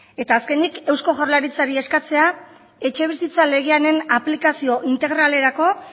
eta azkenik eusko jaurlaritzari eskatzea etxebizitza legearen aplikazio integralerako